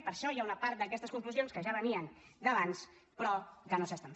i per això hi ha una part d’aquestes conclusions que ja venien d’abans però que no es fan